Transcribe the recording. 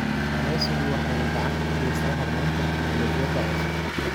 Kalluumaysigu waxa uu gacan ka geystaa horumarinta tignoolajiyada cusub.